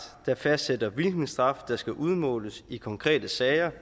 der fastsætter hvilken straf der skal udmåles i konkrete sager